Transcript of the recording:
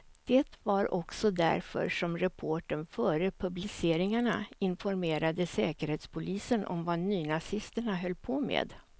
Det var också därför som reportern före publiceringarna informerade säkerhetspolisen om vad nynazisterna höll på med.